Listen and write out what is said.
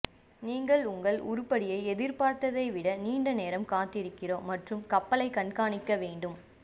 நீங்கள் உங்கள் உருப்படியை எதிர்பார்த்ததை விட நீண்ட நேரம் காத்திருக்கிறோம் மற்றும் கப்பலைக் கண்காணிக்க வேண்டும்